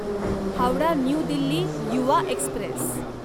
Howrah new Delhi Yuva Express